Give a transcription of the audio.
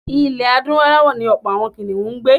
Ilẹ̀ Adúláwọ̀ ni ọ̀pọ̀ àwọn kìnìhún ń gbé.